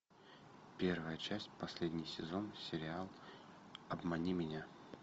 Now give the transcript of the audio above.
первая часть последний сезон сериал обмани меня